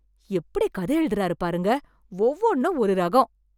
எப்படி கதை எழுதுறாரு பாருங்க! ஒவ்வொன்னும் ஒரு ரகம்.